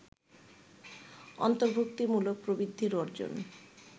অন্তর্ভুক্তিমূলক প্রবৃদ্ধি অর্জন